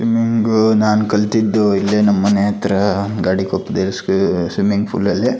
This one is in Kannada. ಸ್ವಿಮ್ಮಿಂಗ್ ನಾನು ಕಲಿತಿದ್ದು ಇಲ್ಲೇ ನಮ್ ಮನೆ ಹತ್ರ ಗಾಳಿ ಸ್ವಿಮ್ಮಿಂಗ್ ಪೂಲ್ ಅಲ್ಲಿ.